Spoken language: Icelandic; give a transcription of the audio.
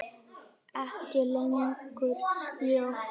Ekki lengur ljót.